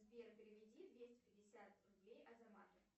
сбер переведи двести пятьдесят рублей азамату